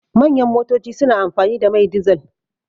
Manyan motoci suna amfani da mai dizal.